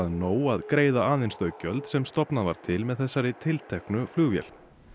nóg að greiða aðeins þau gjöld sem stofnað var til með þessari tilteknu flugvél